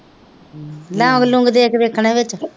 ਲੌਂਗ ਲੂਂਗ ਦੇ ਕੇ ਦੇਖਣੇ ਵਿੱਚ